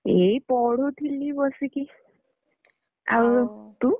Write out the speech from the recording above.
ଏଇ ପଢୁଥିଲି ବସିକି। ଆଉ ତୁ?